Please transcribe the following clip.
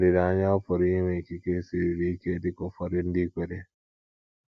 Olileanya ọ̀ pụrụ ịnwe ikike siruru ike dika ụfọdụ ndị kweere?